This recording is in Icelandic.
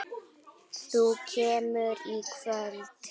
Þú kemur í kvöld!